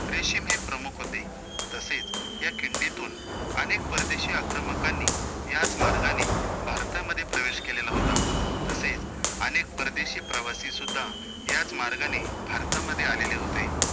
रेशीम हे प्रमुख होते, तसेच या खिंडीतून अनेक परदेशी आक्रमकांनी याच मार्गाने भारतामध्ये प्रवेश केलेला होता, तसेच अनेक परदेशी प्रवासी सुद्धा याच मार्गाने भारतामध्ये आलेले होते.